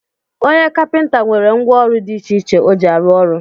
Onye kapinta nwere ngwọ ọrụ di iche iche o ji arụ ọrụ